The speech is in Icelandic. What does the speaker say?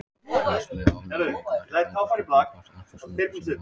Astmi og ofnæmi Mikilvægt er að ganga úr skugga um hvort astmasjúklingar séu með ofnæmi.